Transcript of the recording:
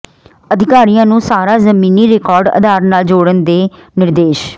ਅਧਿਕਾਰੀਆਂ ਨੂੰ ਸਾਰਾ ਜ਼ਮੀਨੀ ਰਿਕਾਰਡ ਆਧਾਰ ਨਾਲ ਜੋੜਨ ਦੇ ਨਿਰਦੇਸ਼